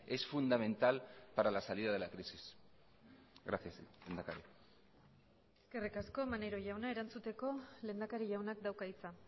es fundamental para la salida de la crisis gracias lehendakari eskerrik asko maneiro jauna erantzuteko lehendakari jaunak dauka hitza